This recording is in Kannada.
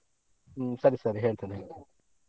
ಹ್ಮ್ ಸರಿ ಸರಿ ಹೇಳ್ತೆನೆ.